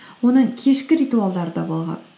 оның кешкі ритуалдары да болған